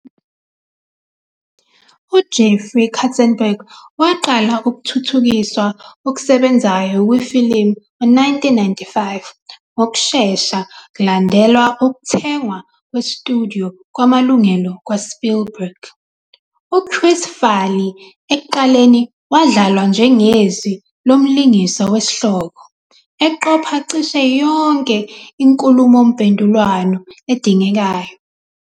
UJeffrey Katzenberg waqala ukuthuthukiswa okusebenzayo kwe ifilimu ngo-1995 ngokushesha kulandela ukuthengwa kwestudio kwamalungelo kwaSpielberg. UChris Farley ekuqaleni wadlalwa njengezwi lomlingiswa wesihloko, eqopha cishe yonke inkhulumomphendvulwano edingekayo.